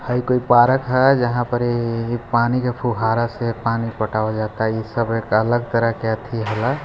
हयी एगो पार्क है यहाँ पर ये पानी का फुहारा से पानी पटावल जाता इ सब एक अलग तरह का ऐथी है--